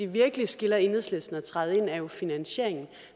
virkelig skiller enhedslisten fra at træde ind er jo finansieringen